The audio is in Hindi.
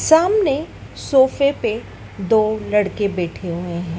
सामने सोफे पे दो लड़के बैठे हुए हैं।